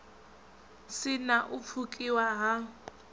si na u pfukiwa ha